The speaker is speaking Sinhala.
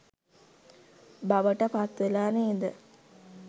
බවට පත්වෙලා නේද?